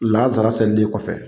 Lansara selili kɔfɛ.